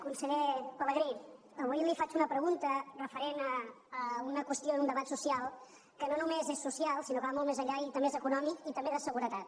conseller pelegrí avui li faig una pregunta referent a una qüestió d’un debat social que no només és social sinó que va molt més enllà i també és econòmic i també de seguretat